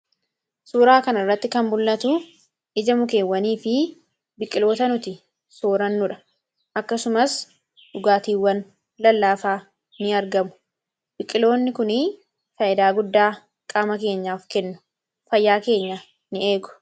suuraa kan irratti kanmul'atu ija mukeewwanii fi biqqiloota nuti soorannuudha akkasumas dhugaatiiwwan lallaafaa in argamu biqqiloonni kuni faayidaa guddaa qaama keenyaaf kennu fayyaa keenya in eegu